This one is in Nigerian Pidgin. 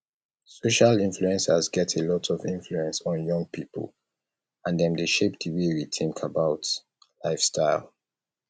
social influencers get a lot of influence on young people and dem dey shape di way we think about lifestyle